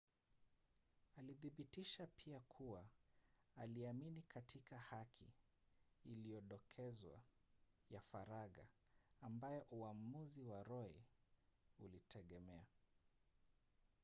alithibitisha pia kuwa aliamini katika haki iliyodokezwa ya faragha ambayo uamuzi wa roe ulitegemea